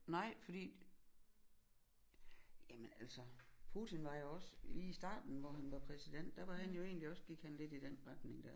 Nej fordi jamen altså Putin var jo også lige i starten hvor han var præsident der var han jo egentlig også gik han lidt i den retning der